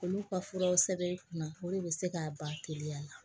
Olu ka furaw sɛbɛn i kunna o de bɛ se k'a ban teliya la